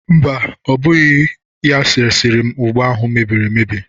Mba, ọ bụghị ya resịrị m ụgba ahụ mebiri emebi.